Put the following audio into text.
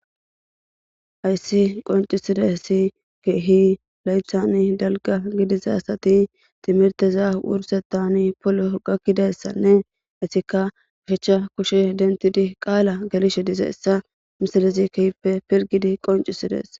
Hayssi qoncisidaysi keehi laythani dalga gidiza asati timirteza wursetani polo gakkidayssanne ettika ushechcha kushshe denthidi qaala gelishe dizayssa misalezi keehippe piligidi qoncisides.